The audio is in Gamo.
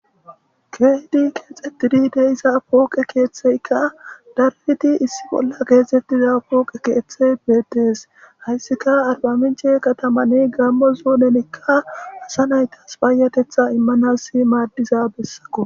Keehdi keexxettidi deisa pooqe keeththeykka dariti issi bolla keesettiza pooqe keeththey beedees hayssika arbaminche katamani gammo zuunenikka asa naytas paayatetha immanas maaddiza bessakko.